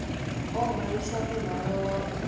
o hwalisana muhwalo wa u